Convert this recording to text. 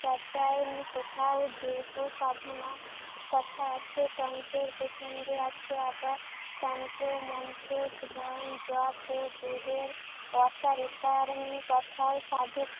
চর্যায় কোথাও দেহ সাধনার কথা আছে। তন্ত্রের প্রসঙ্গে আছে আবার তন্ত্র, মন্ত্র, ধন, যপ ও দেহের অসারতার তথায় সাধক